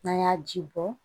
N'an y'a ji bɔ